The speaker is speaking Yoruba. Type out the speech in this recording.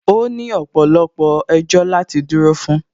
Ó ní ọ̀pọ̀lọpọ̀ ẹjọ́ láti dúró fún